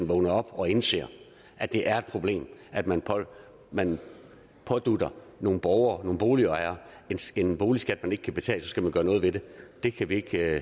vågner op og indser at det er et problem at man man pådutter nogle borgere nogle boligejere en boligskat man ikke kan betale skal man gøre noget ved det det kan vi ikke